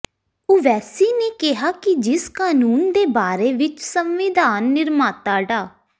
ਓਵੈਸੀ ਨੇ ਕਿਹਾ ਕਿ ਜਿਸ ਕਾਨੂੰਨ ਦੇ ਬਾਰੇ ਵਿਚ ਸੰਵਿਧਾਨ ਨਿਰਮਾਤਾ ਡਾ